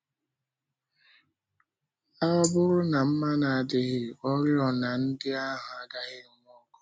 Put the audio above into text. Ọ bụrụ na mmanụ adịghị, oriọna ndị ahụ agaghị enwu ọkụ.